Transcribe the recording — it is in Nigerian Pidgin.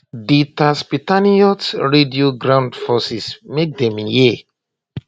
di tatzpitaniyot radio ground forces make dem hear